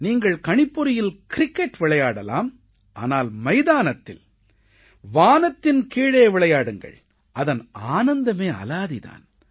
நீங்கள் கணிப்பொறியில் கிரிக்கெட் விளையாடலாம் ஆனால் மைதானத்தில் வானத்தின் கீழே விளையாடுங்கள் அதன் ஆனந்தமே அலாதி தான்